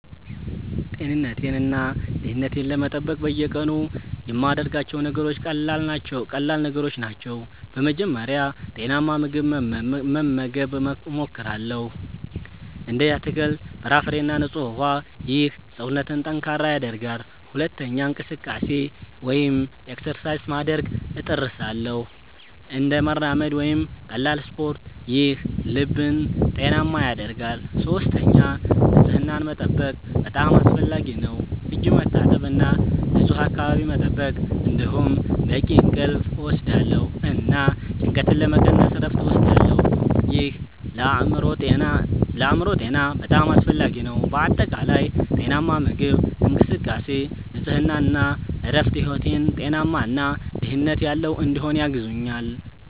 ጤንነቴን እና ደህንነቴን ለመጠበቅ በየቀኑ የምያደርጋቸው ነገሮች ቀላል ነገሮች ናቸው። በመጀመሪያ ጤናማ ምግብ መመገብ እሞክራለሁ፣ እንደ አትክልት፣ ፍራፍሬ እና ንጹህ ውሃ። ይህ ሰውነትን ጠንካራ ያደርጋል። ሁለተኛ እንቅስቃሴ (exercise) ማድረግ እጥርሳለሁ፣ እንደ መራመድ ወይም ቀላል ስፖርት። ይህ ልብን ጤናማ ያደርጋል። ሶስተኛ ንጽህናን መጠበቅ በጣም አስፈላጊ ነው፣ እጅ መታጠብ እና ንፁህ አካባቢ መጠበቅ። እንዲሁም በቂ እንቅልፍ እወስዳለሁ እና ጭንቀትን ለመቀነስ እረፍት እወስዳለሁ። ይህ ለአእምሮ ጤና በጣም አስፈላጊ ነው። በአጠቃላይ ጤናማ ምግብ፣ እንቅስቃሴ፣ ንጽህና እና እረፍት ሕይወቴን ጤናማ እና ደህንነት ያለው እንዲሆን ያግዙኛል